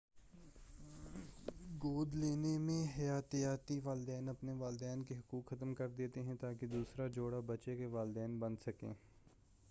گود لینے میں حیاتیاتی والدین اپنے والدین کے حقوق ختم کردیتے ہیں تاکہ دوسرا جوڑا بچے کے والدین بن سکیں